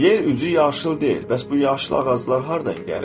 Yer üzü yaşıl deyil, bəs bu yaşıl ağaclar hardan gəlir?